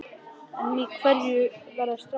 En í hverju verða strákarnir?